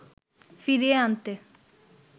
ফিরিয়ে আনতে